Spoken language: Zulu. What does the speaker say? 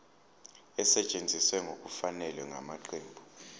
esetshenziswe ngokungafanele ngamaqembu